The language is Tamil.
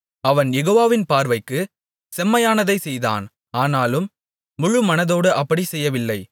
அவன் யெகோவாவின் பார்வைக்கு செம்மையானதைச் செய்தான் ஆனாலும் முழுமனதோடு அப்படி செய்யவில்லை